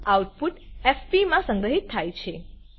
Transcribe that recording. output fpમાં સંગ્રહિત થાય છે